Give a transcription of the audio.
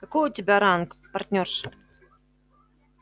какой у тебя ранг партнёрша